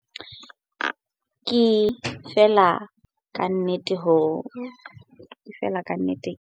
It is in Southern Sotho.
Ke fela kannete ke hlomphehile haholo ke tshehetso e matla eo ke e fumaneng setjhabeng sa heso esita le bathong ba ka ntle ho Freistata.